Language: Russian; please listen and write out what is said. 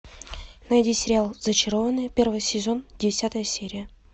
найди сериал зачарованные первый сезон десятая серия